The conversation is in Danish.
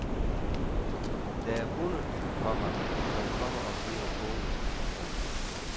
Der er hunde, komma som kommer og giver pote. punktum